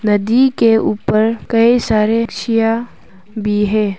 नदी के ऊपर कई सारे छिया भी है।